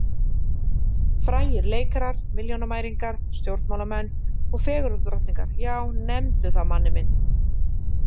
Frægir leikarar, milljónamæringar, stjórnmálamenn og fegurðardrottningar, já, nefndu það manni minn.